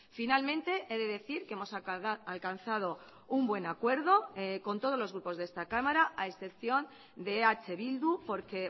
finalmente he de decir que hemos alcanzado un buen acuerdo con todos los grupos de esta cámara a excepción de eh bildu porque